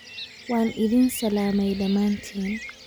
waan idin salaamay dhamaantiin